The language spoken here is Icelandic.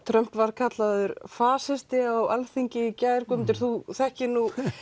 Trump var kallaður fasisti á Alþingi í gær Guðmundur þú þekkir